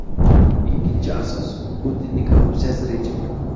Ikkinchi asos – Putinning korrupsiyasi rejimi.